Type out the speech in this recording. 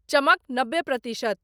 चमक नब्बे प्रतिशत।